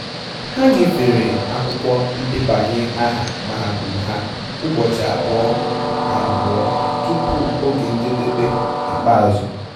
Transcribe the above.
Ha nyefere akwụkwọ ndebanye aha mahadum ha ụbọchị abụọ abụọ tupu oge njedebe ikpeazụ